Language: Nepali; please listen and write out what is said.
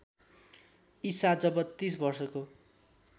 ईसा जब ३० वर्षको